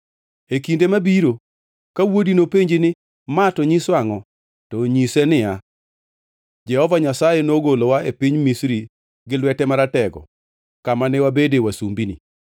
“E kinde mabiro, ka wuodi nopenji ni, ‘Ma to nyiso angʼo?’ To nyise ni, ‘Jehova Nyasaye nogolowa e piny Misri gi lwete maratego kama ne wabede wasumbini.